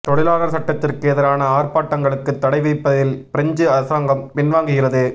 தொழிலாளர் சட்டத்திற்கு எதிரான ஆர்ப்பாட்டங்களுக்கு தடை விதிப்பதில் பிரெஞ்சு அரசாங்கம் பின்வாங்குகிறது